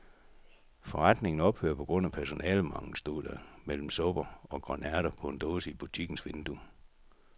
Forretningen ophører på grund af personalemangel, stod der mellem supper og grønærter på dåse i butikkens vindue.